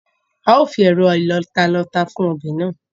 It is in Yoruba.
A ó fi ẹ̀rọ ìlọta lọ ata fún ọbẹ̀ náà